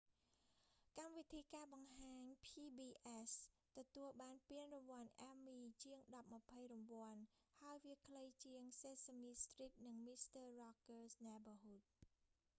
កម្មវិធីការបង្ហាញ pbs ទទួលបានពានរង្វាន់ emmy ជាងដប់ម្ភៃរង្វាន់ ហើយវាខ្លីជាង sesame street និង mister rogers' neighborhood